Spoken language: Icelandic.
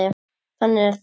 Þannig er það.